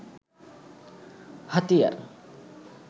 হাতিয়ার